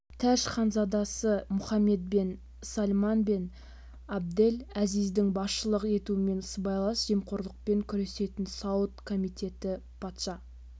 тәж ханзадасы мұхаммед бен сальман бен абдель әзиздің басшылық етуімен сыбайлас жемқорлықпен күресетін сауд комитеті патша